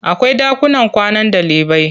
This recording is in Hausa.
Akwai ɗakunan kwanan ɗalibai.